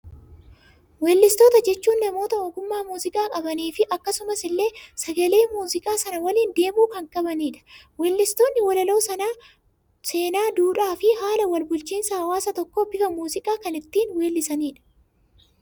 Weellistoota jechuun, namoota ogummaa muuziqaa qabanii fi akkasuma illee sagalee muuziqaa sana waliin deemu kan qabanidha. Weellistoonni walaloo seenaa, duudhaa fi haala wal bulchiinsaa hawaasa tokkoo bifa muuziqaan kan itti weellisanidha.